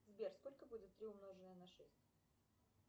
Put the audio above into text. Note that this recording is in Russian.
сбер сколько будет три умноженное на шесть